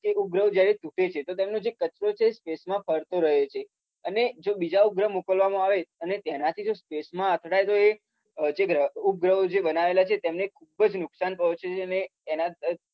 ઉપગ્રહો જ્યારે તુટે છે તો તેનો જે કચરો હોય છે એ સ્પેસમાં ફરતો રહે છે. અને જો બીજા ઉપગ્રહ મોકલવામાં આવે અને એનાથી જો સ્પેસમાં અથડાય તો એ ઉપગ્રહો જે બનાયેલા છે તેને ખુબ જ નુકસાન પહોંચે છે અને એનાથી